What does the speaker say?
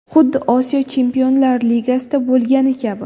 Xuddi Osiyo Chempionlar Ligasida bo‘lgani kabi.